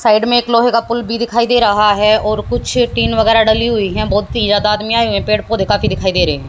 Side में एक लोहे का पुल भी दिखाई दे रहा है और कुछ टीन वगैरा डली हुई हैं बहुत ही ज्यादा आदमी आए हुए हैं पेड़ पौधे काफी दिखाई दे रहे हैं।